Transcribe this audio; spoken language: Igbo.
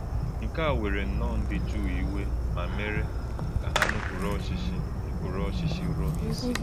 Nkè a wèrè nnọọ ndí Jùù ìwè, mà mèrè kà hà nùpùrù ọ̀chịchì nùpùrù ọ̀chịchì Rọ́m ìsí.